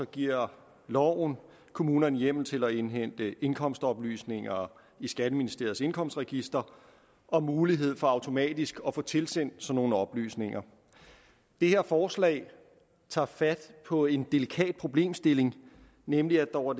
giver loven kommunerne hjemmel til at indhente indkomstoplysninger i skatteministeriets indkomstregister og mulighed for automatisk at få tilsendt sådan nogle oplysninger det her forslag tager fat på en delikat problemstilling nemlig at der over